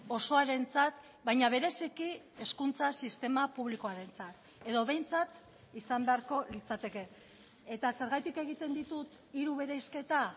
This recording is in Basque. osoarentzat baina bereziki hezkuntza sistema publikoarentzat edo behintzat izan beharko litzateke eta zergatik egiten ditut hiru bereizketa